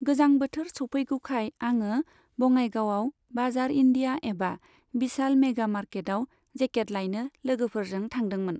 गोजां बोथोर सौफैगौखाय आङो बङाइगावआव बाजार इण्डिया एबा बिशाल मेगा मार्केटाव जेकेट लायनो लोगोफोरजों थांदोंमोन।